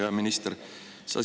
Hea minister!